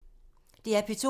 DR P2